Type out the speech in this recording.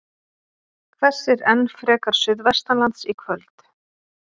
Hvessir enn frekar suðvestanlands í kvöld